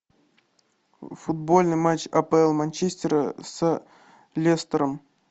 футбольный матч апл манчестера с лестером